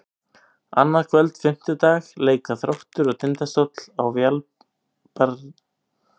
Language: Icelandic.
Annað kvöld, fimmtudag, leika Þróttur og Tindastóll á Valbjarnarvelli.